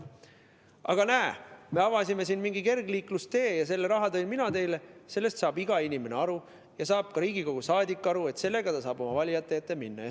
Aga kui öelda, et näe, me avasime siin mingi kergliiklustee ja selle raha tõin mina teile, siis sellest saab iga inimene aru ja saab ka Riigikogu liige aru, et sellega ta saab oma valijate ette minna.